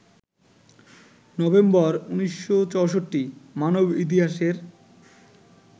November ১৯৬৪- মানব ইতিহাসের